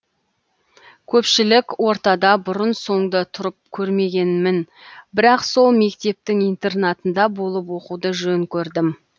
көпшілік ортада бұрын соңды тұрып көрмегенмін бірақ сол мектептің интернатында болып оқуды жөн көрдім